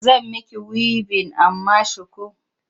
Zan miki wibin amma shuku.